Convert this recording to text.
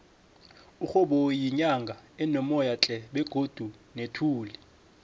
udnoboyi yinyanga enomoyatle begodu nethuli